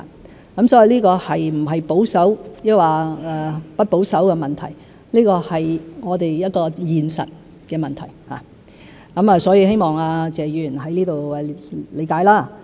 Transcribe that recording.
所以，這個不是保守或不保守的問題，而是我們一個現實的問題，希望謝議員可以理解。